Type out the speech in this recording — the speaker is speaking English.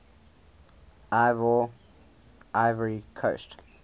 ivoire ivory coast